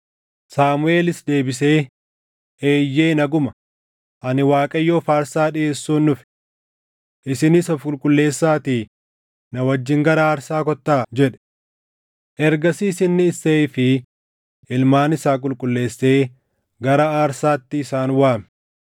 Saamuʼeelis deebisee, “Eeyyee naguma; ani Waaqayyoof aarsaa dhiʼeessuun dhufe. Isinis of qulqulleessaatii na wajjin gara aarsaa kottaa” jedhe. Ergasiis inni Isseeyii fi ilmaan isaa qulqulleessee gara aarsaatti isaan waame.